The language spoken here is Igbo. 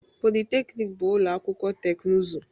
Polytechnic bụ ụlọ akwụkwọ teknụzụ